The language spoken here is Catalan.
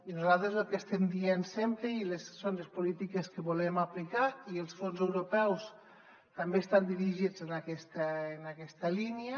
i nosaltres el que estem dient sempre i són les polítiques que volem aplicar i els fons europeus també estan dirigits en aquesta línia